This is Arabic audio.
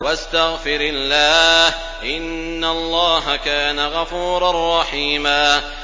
وَاسْتَغْفِرِ اللَّهَ ۖ إِنَّ اللَّهَ كَانَ غَفُورًا رَّحِيمًا